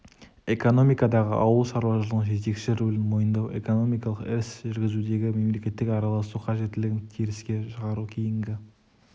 экономикадағы ауыл шаруашылығының жетекші рөлін мойындау экономикалық іс жүргізудегі мемлекеттің араласу қажеттілігін теріске шығару кейінгі